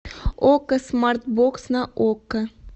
окко смарт бокс на окко